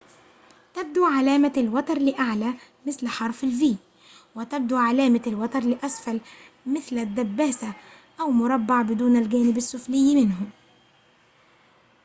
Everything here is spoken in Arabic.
تبدو علامة الوتر لأعلى مثل حرف الـv وتبدو علامة الوتر لأسفل مثل الدباسة أو مربّع بدون الجانب السفلي منه